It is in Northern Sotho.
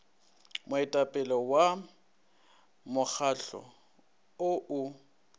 moetapele wa mokgahlo o o